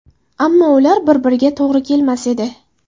Ammo ular bir-biriga to‘g‘ri kelmas edi.